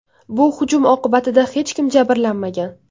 Bu hujum oqibatida hech kim jabrlanmagan.